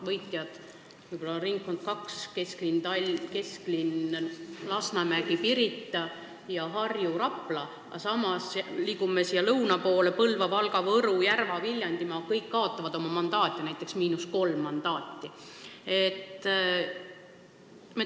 Võitjad on võib-olla ringkond nr 2 ning Harju- ja Raplamaa, aga kui me liigume lõuna poole, siis näeme, et Põlva-, Valga-, Võru-, Järva- ja Viljandimaa – kõik nad kaotavad oma mandaate, näiteks kolm mandaati.